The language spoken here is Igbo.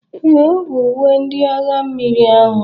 Ee, ọ bụ uwe ndị agha mmiri ahụ